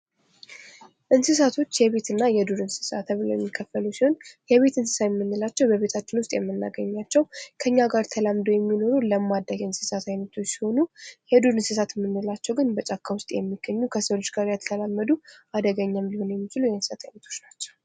እንስሳቶች የቤት እና የዱር እንስሳ ተብለው የሚከፈሉ ሲሆን የቤት እንስሳ የምንላቸው በቤታችን ውስጥ የምናገኛቸው ፣ ከኛው ጋር ተላምደው የሚኖሩ ፣ ለማዳ የእንስሳት አይነቶች ሲሆኑ የዱር እንስሳት የምንላቸው ግን በጫካ ውስጥ የሚገኙ ፣ ከሰው ልጅ ጋር ያልተላመዱ ፣ አደገኛ ሊሆኑም የሚችሉ የእንስሳት አይነቶች ናቸው ።